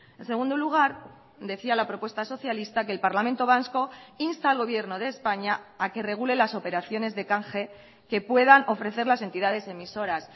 en segundo lugar decía la propuesta socialista que el parlamento vasco insta al gobierno de españa a que regule las operaciones de canje que puedan ofrecer las entidades emisoras